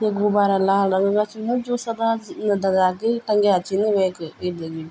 ये गुबारा लाल रंगा छिन जू सदा दग्याकी टंग्या छिन वेकुई ।